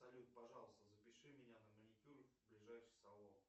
салют пожалуйста запиши меня на маникюр в ближайший салон